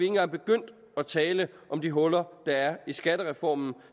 engang begyndt at tale om de huller der er i skattereformen